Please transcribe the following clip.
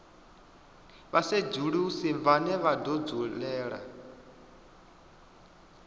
vhasedzulusi vhane vha do dzulela